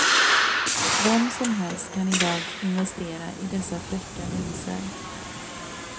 Vem som helst kan idag investera i dessa fräcka linser.